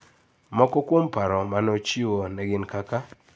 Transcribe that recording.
Moko kuom paro ma nochiwo ne gin kaka: